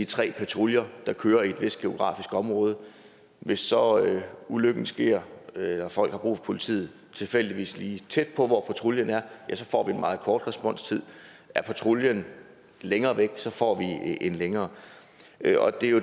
tre patruljer der kører i et vist geografisk område og hvis så ulykken sker eller folk får brug for politiet tilfældigvis lige tæt på hvor patruljen er får vi en meget kort responstid er patruljen længere væk får vi en længere